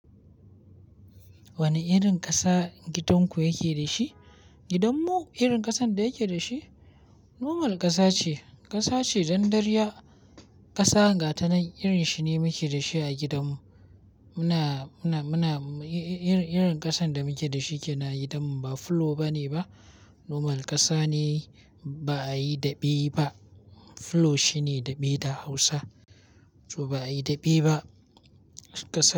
Wane irin kasa gidan ku yake da shi? Gidanmu irin kasan da yake da shi normal ƙasa ce. Ƙasa ce, dandariyya ƙasa ga ta nan irin shi ne muke da shi a gidanmu. Muna, muna, muna, i-i-irin ƙasan da muke da shi kenan a gidanmu ba fulo bane ba. Normal ƙasa ne, ba a yi daɓe ba. Fulo shi ne daɓe da hausa, to ba a yi daɓe ba. Ƙasa.